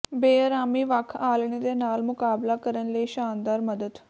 ਬੇਅਰਾਮੀ ਵੱਖ ਆਲ੍ਹਣੇ ਦੇ ਨਾਲ ਮੁਕਾਬਲਾ ਕਰਨ ਲਈ ਸ਼ਾਨਦਾਰ ਮਦਦ